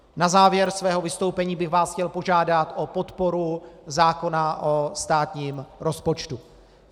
Na závěr svého vystoupení bych vás chtěl požádat o podporu zákona o státním rozpočtu.